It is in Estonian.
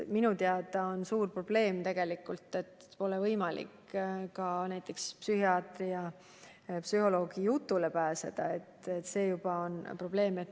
Minu teada on suur probleem, et tegelikult pole võimalik psühhiaatri ja psühholoogi jutule pääseda.